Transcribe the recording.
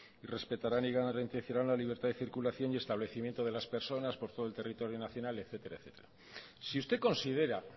y respetarán y garantizarán la libertad de circulación y establecimiento de las personas por todo el territorio nacional etcétera etcétera si usted considera